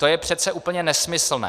To je přece úplně nesmyslné!